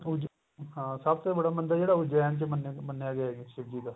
ਬਹੁਤ ਜਿਆਦਾ ਹਾਂ ਸਭ ਤੋਂ ਬੜਾ ਮੰਦਰ ਏ ਜਿਹੜਾ ਉਜੈਨ ਚ ਮੰਨਿਆ ਮੰਨਿਆ ਗਿਆ ਸ਼ਿਵ ਜੀ ਦਾ